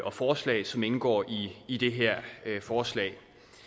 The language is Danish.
og forslag som indgår i det her forslag